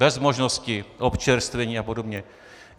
Bez možnosti občerstvení a podobně.